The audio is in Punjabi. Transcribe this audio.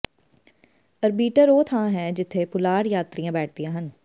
ਅਰਬੀਟਰ ਉਹ ਥਾਂ ਹੈ ਜਿੱਥੇ ਪੁਲਾੜ ਯਾਤਰੀਆਂ ਬੈਠਦੀਆਂ ਹਨ